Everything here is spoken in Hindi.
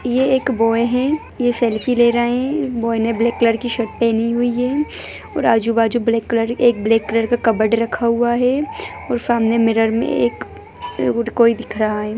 ये एक बॉय है ये सेल्फी ले रहे हैं बॉय ने ब्लैक कलर की शर्ट पहनी हुई है और आजू-बाजू ब्लैक कलर एक ब्लैक कलर का कबर्ड रखा हुआ है और सामने मिरर में एक कोई एक दिख रहा है।